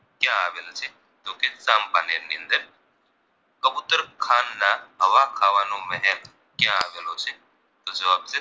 તો જવાબ છે